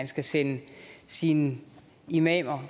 skal sende sine imamer